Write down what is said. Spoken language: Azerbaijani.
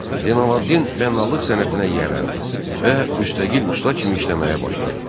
Zeynallabdin bənalıq sənətinə yiyələndi və müstəqil usta kimi işləməyə başladı.